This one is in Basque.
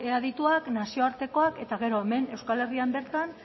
adituak nazioartekoak eta gero hemen euskal herrian bertan